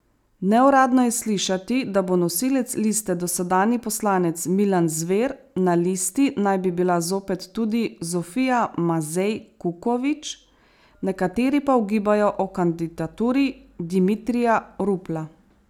Neuradno je slišati, da bo nosilec liste dosedanji poslanec Milan Zver, na listi naj bi bila zopet tudi Zofija Mazej Kukovič, nekateri pa ugibajo o kandidaturi Dimitrija Rupla.